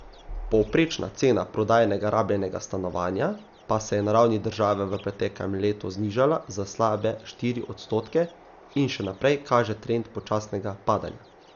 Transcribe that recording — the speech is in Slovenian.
Povprečna cena prodanega rabljenega stanovanja pa se je na ravni države v preteklem letu znižala za slabe štiri odstotke in še naprej kaže trend počasnega padanja.